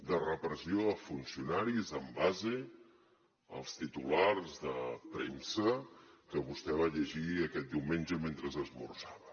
de repressió a funcionaris en base als titulars de premsa que vostè va llegir aquest diumenge mentre esmorzava